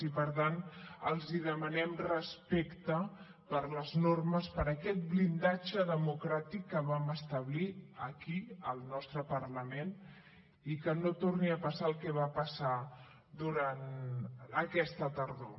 i per tant els demanem respecte per les normes per aquest blindatge democràtic que vam establir aquí al nostre parlament i que no torni a passar el que va passar durant aquesta tardor